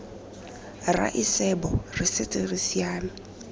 raesebo re setse re siame